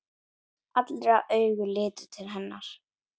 Allra augu litu til hennar.